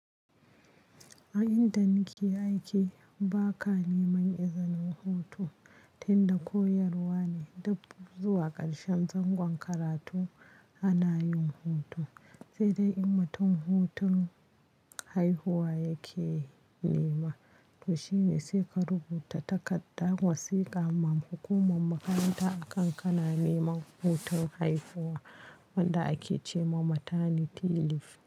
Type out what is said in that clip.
A inda ni ke aiki ba ka neman izanin hutu tunda koyarwa ne, dabb zuwa karatu ƙarshen zangon ana yin hutu, sai dai in matan hutun haihuwa yake nema. To shine sai ka rubuta takarda wasiƙa ma hukumar makaranta a kan ka na neman hutun haihuwa wanda ake ce ma maternity leave.